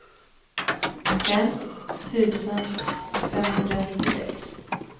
fem tusen femhundranittiosex